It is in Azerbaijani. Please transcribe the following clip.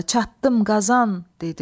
çatdım Qazan, dedi.